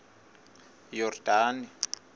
yordane